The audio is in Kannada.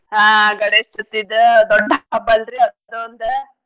ಹಾ ಗಣೇಶ್ಚವ್ತಿದ ದೊಡ್ಡ್ ಹಬ್ಬಲ್ರಿ ಅದೊಂದ್?